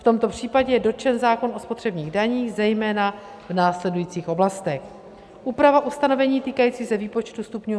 V tomto případě je dotčen zákon o spotřebních daních, zejména v následujících oblastech: Úprava ustanovení týkajících se výpočtu stupňů